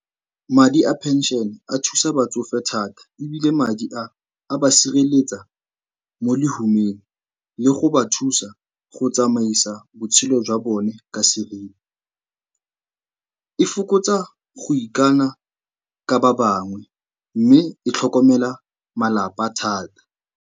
Madi a pension a thusa batsofe thata ebile madi a, a ba sireletsa mo lehumeng le go ba thusa go tsamaisa botshelo jwa bone ka seriti. E fokotsa go ikana ka ba bangwe mme e tlhokomela malapa thata.